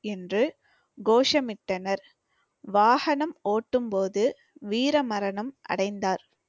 என்று கோஷமிட்டனர். வாகனம் ஓட்டும் போது வீர மரணம் அடைந்தார்